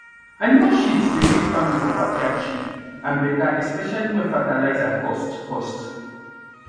animal shit dey make farming for backyard cheap and better especially when fertilizer cost cost